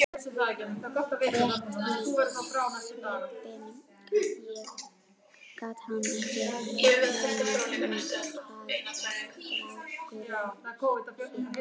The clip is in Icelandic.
Rétt í svipinn gat hann ekki munað hvað strákurinn hét.